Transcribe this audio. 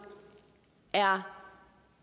er